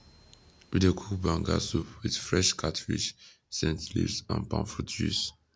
we dey cook banga soup with fresh catfish scent leaves and palm fruit juice